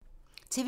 TV 2